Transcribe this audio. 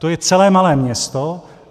To je celé malé město.